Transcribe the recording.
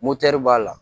b'a la